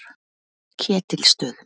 Ketilsstöðum